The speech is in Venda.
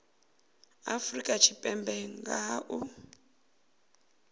afrika tshipembe nga ha u